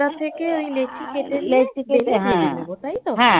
ছোটো ছোটো করে ময়দা থেকে ওই লেচি কেটে নিয়ে দিয়ে দেব তাইতো?